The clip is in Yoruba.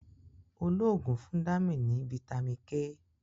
olóògùn fún Dami ní vitamin k.